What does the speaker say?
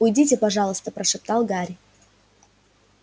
уйдите пожалуйста прошептал гарри